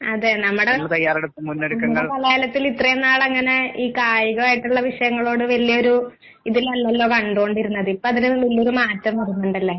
അതെ നമ്മുടെ നമ്മുടെ കലാലയത്തിൽ ഇത്രയും നാളങ്ങനെ ഈ കായികായിട്ടുള്ള വിഷയങ്ങളോട് വല്ല്യ ഒരു ഇതിലല്ലല്ലോ കണ്ടോണ്ടിരുന്നത് ഇപ്പൊ അതിനുള്ളള്ളൊരു മാറ്റം വരുന്നുണ്ടല്ലേ?